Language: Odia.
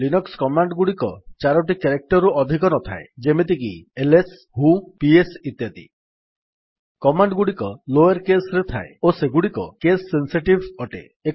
ଲିନକ୍ସ୍ କମାଣ୍ଡ୍ ଗୁଡିକ ଚାରୋଟି କ୍ୟାରେକ୍ଟର୍ ରୁ ଅଧିକ ନଥାଏ ଯେମିତି କି ଏଲଏସ୍ ହ୍ୱୋ ପିଏସ୍ ଇତ୍ୟାଦି କମାଣ୍ଡ୍ ଗୁଡିକ ଲୋୟର୍ କେସ୍ ରେ ଥାଏ ଓ ସେଗୁଡିକ କେସ୍ ସେନ୍ସିଟିଭ୍ ଅଟେ